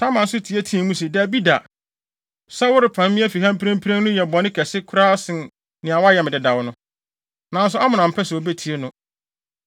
Tamar nso teɛteɛɛ mu se, “Dabi da. Sɛ worepam me afi ha mprempren no yɛ bɔne kɛse koraa sen nea woayɛ me dedaw no.” Nanso Amnon ampɛ sɛ obetie no.